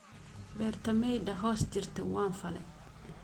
Bertameydha hoss jirtey wanfale.